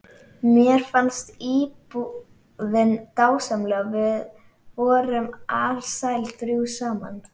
Mér fannst íbúðin dásamleg og við vorum alsæl þrjú saman.